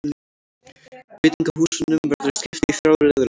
Veitingahúsunum verður skipt í þrjá riðla